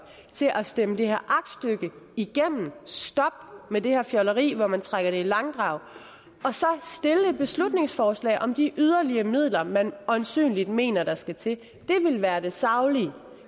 til at stemme det her aktstykke igennem stop med det her fjolleri med at trække det i langdrag og beslutningsforslag om de yderligere midler man øjensynligt mener der skal til det ville være det saglige